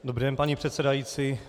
Dobrý den, paní předsedající.